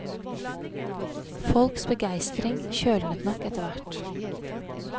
Folks begeistring kjølnet nok etter hvert.